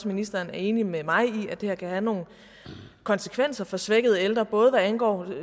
ministeren er enig med mig i at det her kan have nogle konsekvenser for svækkede ældre både hvad angår